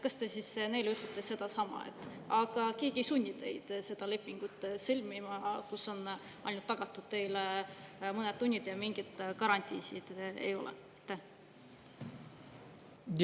Kas te siis neile ütlete sedasama, et aga keegi ei sunni teid seda lepingut sõlmima, kus on ainult tagatud teile mõned tunnid ja mingeid garantiisid ei ole?